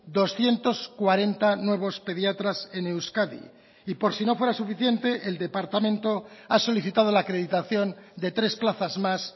doscientos cuarenta nuevos pediatras en euskadi y por si no fuera suficiente el departamento ha solicitado la acreditación de tres plazas más